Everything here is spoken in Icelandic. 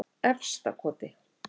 Efstakoti